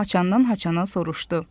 Haçandan-haçana soruşdu.